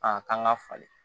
Aa k'an ka falen